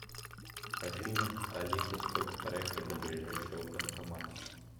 афина алиса сколько проехать до ближайшего банкомата